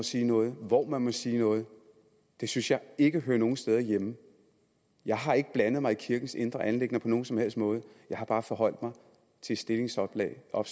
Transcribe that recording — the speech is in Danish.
sige noget og hvor man må sige noget det synes jeg ikke hører nogen steder hjemme jeg har ikke blandet mig i kirkens indre anliggender på nogen som helst måde jeg har bare forholdt mig til et stillingsopslag og